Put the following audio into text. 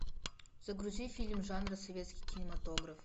загрузи фильм жанра советский кинематограф